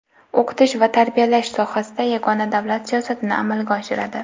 o‘qitish va tarbiyalash sohasida yagona davlat siyosatini amalga oshiradi.